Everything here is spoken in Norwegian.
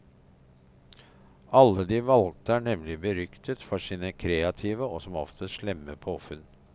Alle de valgte er nemlig beryktet for sine kreative og som oftest slemme påfunn.